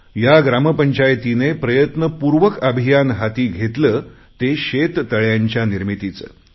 या ग्रामपंचायतीने प्रयत्नपूर्वक अभियान हाती घेतले ते शेततळ्यांच्या निर्मितीचे